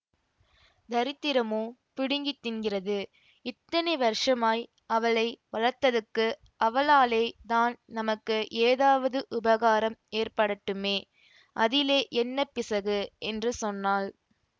தரித்திரமோ பிடுங்கி தின்கிறது இத்தனை வருஷமாய் அவளை வளர்த்ததற்கு அவளாலே தான் நமக்கு ஏதாவது உபகாரம் ஏற்படட்டுமே அதிலே என்ன பிசகு என்று சொன்னாள்